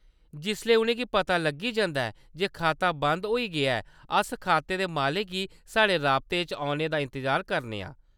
जिसलै उʼनें गी पता लग्गी जंदा ऐ जे खाता बंद होई गेआ ऐ, अस खाते दे मालकै गी साढ़े राबते च औने दा इंतजार करने आं ।